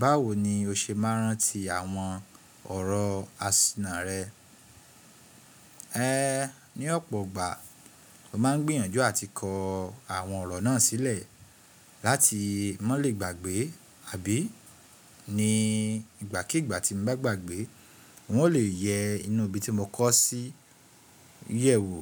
Báwo ni o ṣe máa ń rántí àwọn ọ̀rọ̀ àsìnà rẹ? Ní ọ̀pọ̀ ìgbà, mo máa ń gbìyànjú àti kọ àwọn ọ̀rọ̀ náà sílẹ̀ láti mọ́ lè gbàgbé, àbí ní ìgbàkígbà tí mo bá gbàgbé wọn o lè yẹ inú ibi tí mo kọ́ sí yẹ̀wo